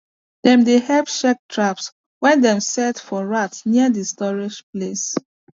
dem dey help check traps wey dem set for rats near the storage place